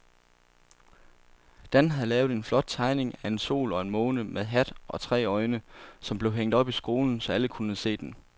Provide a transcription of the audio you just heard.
Dan havde lavet en flot tegning af en sol og en måne med hat og tre øjne, som blev hængt op i skolen, så alle kunne se den.